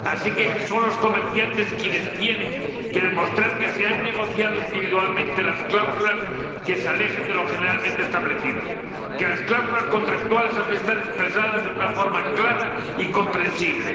de modo que sean los comerciantes quienes tienen que demostrar que se han negociado individualmente las cláusulas que se alejen de lo generalmente establecido, que las cláusulas contractuales han de estar expresadas de una forma clara y comprensible.